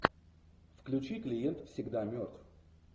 включи клиент всегда мертв